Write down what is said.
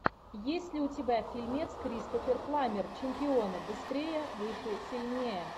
есть ли у тебя фильмец кристофер пламмер чемпионы быстрее выше сильнее